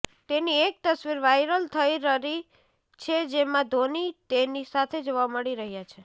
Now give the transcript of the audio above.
તેની એક તસવીર વાયરલ થઈ રરી છે જેમાં ધોની તેની સાથે જોવા મળી રહ્યા છે